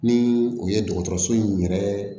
Ni u ye dɔgɔtɔrɔso in yɛrɛ